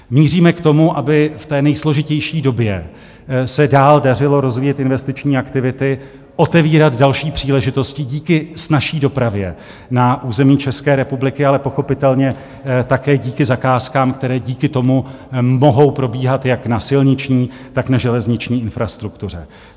Míříme k tomu, aby v té nejsložitější době se dál dařilo rozvíjet investiční aktivity, otevírat další příležitosti díky snazší dopravě na území České republiky, ale pochopitelně také díky zakázkám, které díky tomu mohou probíhat jak na silniční, tak na železniční infrastruktuře.